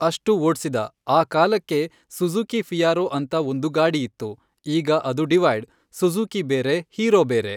ಅಷ್ಟು ಓಡ್ಸಿದ ಆ ಕಾಲಕ್ಕೆ ಸುಝುಕಿ ಫಿಯಾರೋ ಅಂತ ಒಂದು ಗಾಡಿ ಇತ್ತು ಈಗ ಅದು ಡಿವೈಡ್ ಸುಝುಕಿ ಬೇರೆ ಹೀರೊ ಬೇರೆ.